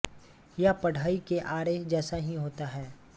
यह बढ़ई के आरे जैसा ही होता है